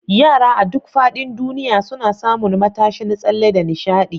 Yara a duk faɗin duniya suna samun matashin tsalle da nishaɗi.